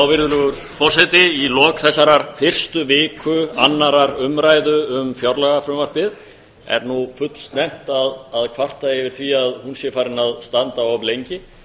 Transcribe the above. virðulegur forseti í lok þessarar fyrstu viku annarrar umræðu um fjárlagafrumvarpið er nú fullsnemmt að kvarta yfir því að hún sé farin að standa of lengi